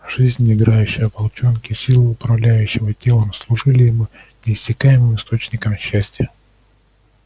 жизнь играющая в волчонке силы управляющие его телом служили ему неиссякаемым источником счастья